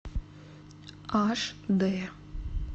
аш дэ